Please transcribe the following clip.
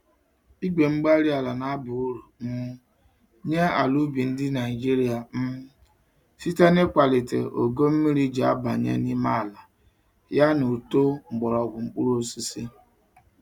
igwe-mgbárí-ala na-aba uru um nyé ala ubi ndị Nigeria um site n'ịkwalite ogo mmírí jị abanye n'ime àlà, ya na uto mgbọrọgwụ mkpụrụ osisi.